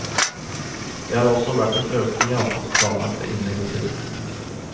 Det har også vært en økning i antall planlagte innleggelser.